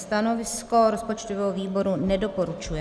Stanovisko rozpočtového výboru - nedoporučuje.